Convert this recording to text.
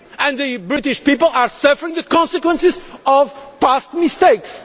The British people are suffering the consequences of past mistakes.